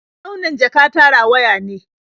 Launin jaka ta rawaya ne.